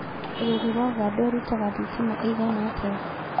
Bũrũri wa Ũganda ũrutaga thitima ĩigana atĩa